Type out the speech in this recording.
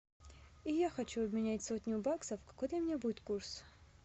я хочу обменять сотню баксов какой для меня будет курс